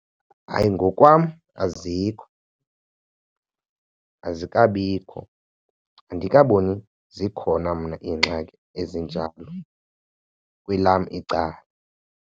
Hayi, ngokwam azikho. Azikabikho, andikaboni zikhona mna iingxaki ezinjalo kwelam icala.